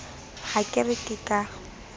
ha ke re ke ka